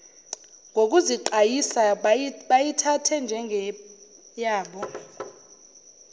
ngokuziqayisa bayithathe njengeyabo